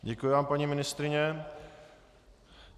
Děkuji vám, paní ministryně.